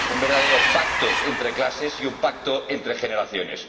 un verdadero pacto entre clases y un pacto entre generaciones.